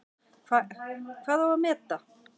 Hvað á að meta?